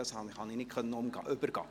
Das konnte ich nicht übergehen.